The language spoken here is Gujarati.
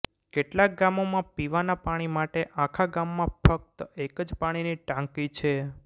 કેટલાક ગામોમાં પીવાનાં પાણી માટે આખા ગામમાં ફક્ત એક જ પાણીની ટાંકી છે